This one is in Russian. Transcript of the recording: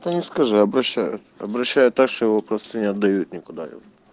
скажи обращаю обращаю так что его просто не отдают никуда ёп